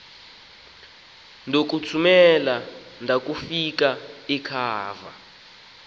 ndokuthumela ndakufika ekhava